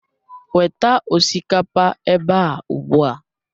Weta osikapa ebe a ugbu a